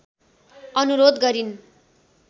अनुरोध गरिन्